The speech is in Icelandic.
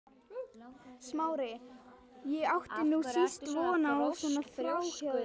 Smári, ég átti nú síst von einhverju svona frá þér!